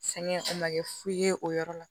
Sɛgɛn o ma kɛ fu ye o yɔrɔ la